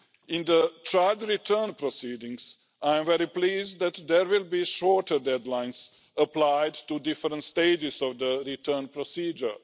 In child return proceedings, I am very pleased that there will be shorter deadlines applied to different stages in the return procedure.